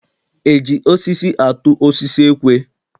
E ji osisi atụ osisi ekwe?